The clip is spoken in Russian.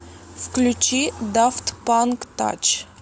включи дафт панк тач